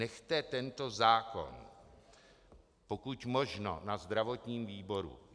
Nechte tento zákon pokud možno na zdravotním výboru.